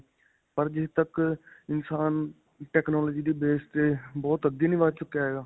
ਪਰ ਜਿੱਥੇ ਤੱਕ ਇਨਸਾਨ technology ਦੇ base ਤੇ ਬਹੁਤ ਅੱਗੇ ਨਹੀਂ ਵੱਧ ਚੁੱਕਿਆ ਹੈਗਾ?